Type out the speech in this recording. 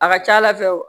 A ka ca ala fɛ